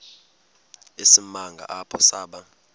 isimanga apho saba